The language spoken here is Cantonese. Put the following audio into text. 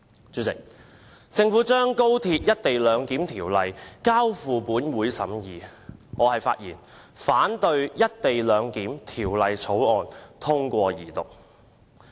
主席，政府將《條例草案》交付本會審議，我現在發言反對《條例草案》通過二讀。